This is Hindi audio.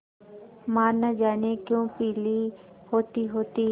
माँ न जाने क्यों पीली होतीहोती